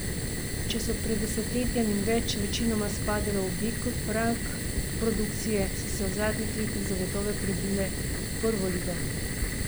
Če so pred desetletjem in več večinoma spadale v B rang produkcije, so se v zadnjih letih zagotovo prebile v prvo ligo.